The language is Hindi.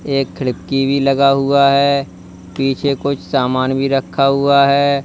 एक खिड़की भी लगा हुआ है पीछे कुछ सामान भी रखा हुआ है।